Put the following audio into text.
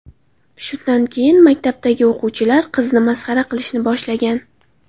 Shundan keyin maktabdagi o‘quvchilar qizni masxara qilishni boshlagan.